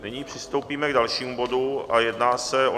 Nyní přistoupíme k dalšímu bodu a jedná se o